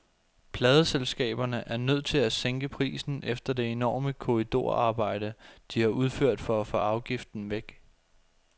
Pladeselskaberne er nødt til at sænke prisen efter det enorme korridorarbejde, de har udført for at få afgiften væk.